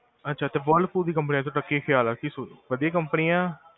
ਅਛਾ, ਤੇ ਵਹਿਰਲਪੂਲ ਦੀ ਕੰਪਨੀ ਬਾਰੇ ਤੁਹਾਡਾ ਕੀ ਖਿਆਲ ਹੈ? ਕੀ ਵਦੀਆਂ ਆ?